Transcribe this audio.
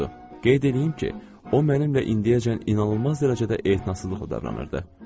Qeyd eləyim ki, o mənimlə indiyəcən inanılmaz dərəcədə etinasızcasına davranırdı.